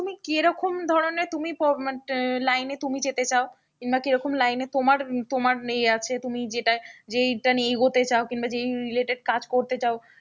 তুমি কেরকম ধরনের তুমি মানে line এ তুমি যেতে চাও কিংবা কে রকম line এ তোমার এ আছে তুমি যেটায় যেটা নিয়ে এগোতে চাও কিংবা যে related কাজ করতে চাও,